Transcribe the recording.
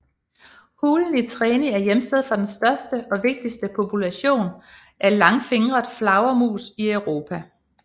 Hulen i Treni er hjemsted for den største og vigtigste population af langfingret flagermus i Europa